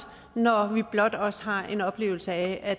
når vi blot også har en oplevelse af at